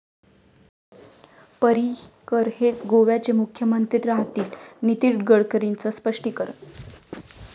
पर्रिकर हेच गोव्याचे मुख्यमंत्री राहतील', नितीन गडकरींचं स्पष्टीकरण